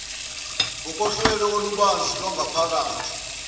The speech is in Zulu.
ngokohlelo olubanzi lwangaphakathi